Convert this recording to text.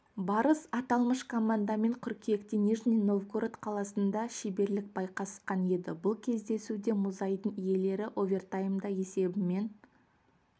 барыс аталмыш командамен қыркүйекте нижний новгород қаласында шеберлік байқасқан еді бұл кездесуде мұзайдын иелері овертаймда есебімен